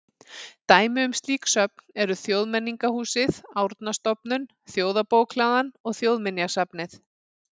Dæmi um slík söfn eru Þjóðmenningarhúsið, Árnastofnun, Þjóðarbókhlaðan og Þjóðminjasafnið.